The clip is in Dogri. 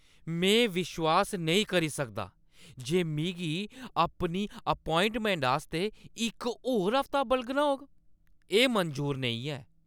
में विश्वास नेईं करी सकदा जे मिगी अपनी अपोआइंटमैंट आस्तै इक होर हफ्ता बलगना होग। एह् मंजूर नेईं ऐ।